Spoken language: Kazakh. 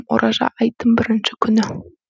ораза айттың бірінші күні